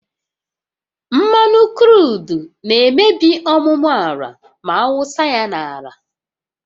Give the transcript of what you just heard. Mmanụ kruudu na-emebi ọmụmụ ala ma awụsa ya n'ala